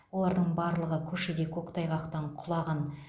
олардың барлығы көшеде көктайғақтан құлаған